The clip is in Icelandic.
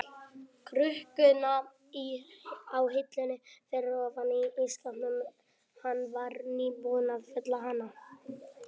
krukkuna á hillunni fyrir ofan ísskápinn, hann var nýbúinn að fylla á hana.